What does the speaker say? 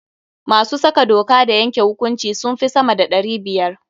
Masu saka doka da yanke hukunci sun fi sama da ɗari biyar.